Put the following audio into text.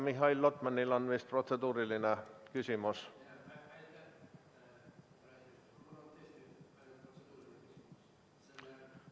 Mihhail Lotman, teil on vist protseduuriline küsimus.